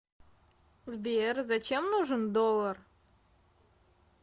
сбер зачем нужен доллар